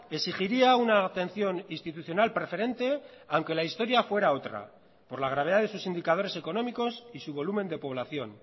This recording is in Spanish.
exigiría una atención institucional preferente aunque la historia fuera otra por la gravedad de sus indicadores económicos y su volumen de población